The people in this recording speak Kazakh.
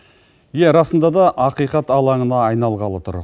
иә расында да ақиқат алаңына айналғалы тұр